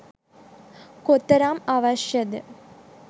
කොතරම් අවශ්‍ය ද